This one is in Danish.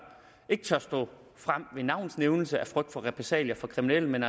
ikke tør stå frem med navns nævnelse af frygt for repressalier fra kriminelle men